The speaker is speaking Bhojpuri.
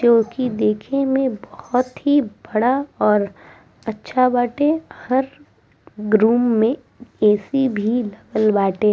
जोकि देखे में बहुत ही बड़ा और अच्छा बाटे हर रूम में ऐ.सी. भी लागल बाटे |